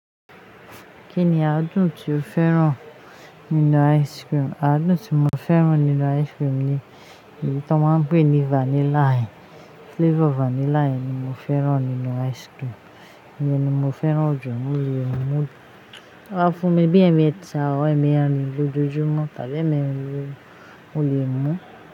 Kí ni adùn tí o fẹ́ràn nínú ice cream? Adùn tí mo fẹ́ràn nínú ice cream ni èyí tí wọ́n ma pè ní vanilla. Flavor vanilla ni mo fẹ́ràn nínú ice cream. Ìyẹn ni mo fẹ́ràn jù, mo lè mú ti won ba fún mi bí èmẹta, or ẹ̀mẹ́rin lójoojúmọ́, tabí èmerin, mó lè mú.